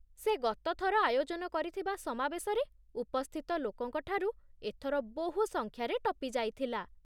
ସେ ଗତ ଥର ଆୟୋଜନ କରିଥିବା ସମାବେଶରେ ଉପସ୍ଥିତ ଲୋକଙ୍କ ଠାରୁ ଏଥର ବହୁ ସଂଖ୍ୟାରେ ଟପିଯାଇଥିଲା